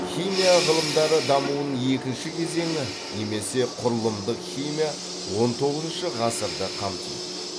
химия ғылымдары дамуының екінші кезеңі немесе құрылымдық химия он тоғызыншы ғасырды қамтиды